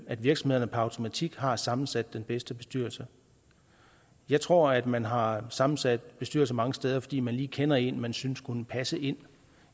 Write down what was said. at virksomhederne per automatik har sammensat den bedste bestyrelse jeg tror at man har sammensat bestyrelser mange steder fordi man lige kender en man synes kunne passe ind